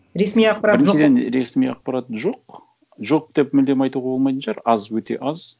ресми ақпарат ресми ақпарат жоқ жоқ деп мүлдем айтуға болмайтын шығар аз өте аз